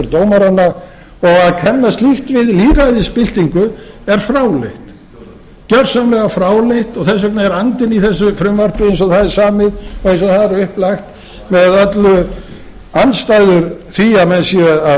dómaranna og að kenna slíkt við lýðræðisbyltingu er fráleitt gjörsamlega fráleitt og þess vegna er andinn í þessu frumvarpi eins og það er samið og eins og það er upplagt með öllu andstæður því að menn séu